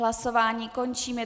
Hlasování končím.